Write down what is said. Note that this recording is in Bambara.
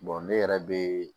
ne yɛrɛ be